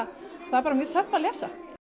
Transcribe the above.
bara mjög töff að lesa